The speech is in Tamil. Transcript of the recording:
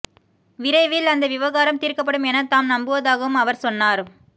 விரைவில் அந்த விவகாரம் தீர்க்கப்படும் எனத் தாம் நம்புவதாகவும் அவர் சொன்னார்